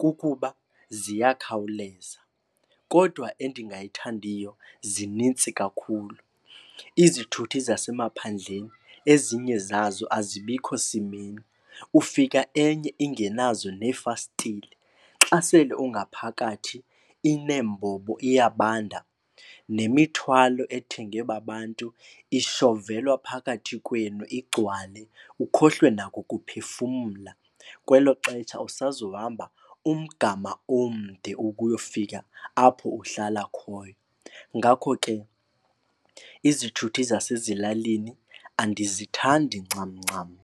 kukuba ziyakhawuleza. Kodwa endingayithandiyo, zinintsi kakhulu. Izithuthi zasemaphandleni ezinye zazo azibikho simeni. Ufika enye ingenazo neefastile, xa sele ungaphakathi ineembombo, iyabanda. Nemithwalo ethengwe babantu ishovelwa phakathi kwenu igcwale, ukhohlwe nakukuphefumla. Kwelo xesha usazohamba umgama omde ukuyofika apho uhlala khoyo. Ngakho ke izithuthi zasezilalini andizithandi ncam ncam.